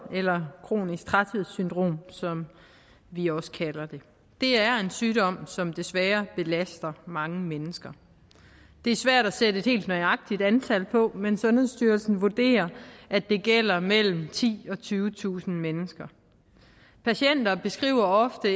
eller kronisk træthedssyndrom som vi også kalder det det er en sygdom som desværre belaster mange mennesker det er svært at sætte et helt nøjagtigt antal på men sundhedsstyrelsen vurderer at det gælder mellem titusind og tyvetusind mennesker patienter beskriver ofte